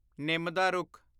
ਨਿੰਮ ਦਾ ਰੁੱਖ